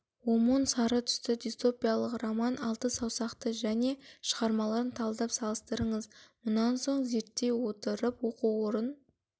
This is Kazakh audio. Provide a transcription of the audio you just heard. омон сары түсті дистопиялық роман алты саусақты және шығармаларын талдап салыстырыңыз мұнан соң зерттей отырып оқу орын